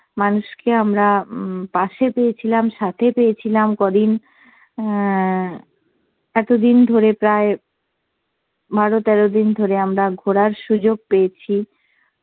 মানুষকে আমরা উম পাশে পেয়েছিলাম, সাথে পেয়েছিলাম কদিন অ্যাঁ এতদিন ধরে প্রায় বারো তেরো দিন ধরে আমরা ঘোরার সুযোগ পেয়েছি